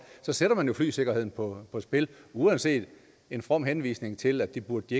så sætter man jo flysikkerheden på spil uanset en from henvisning til at det burde